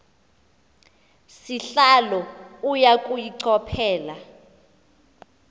sihlalo uya kuyichophela